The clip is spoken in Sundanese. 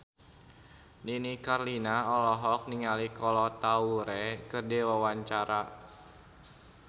Nini Carlina olohok ningali Kolo Taure keur diwawancara